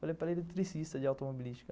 Falei, para eletricista de automobilística.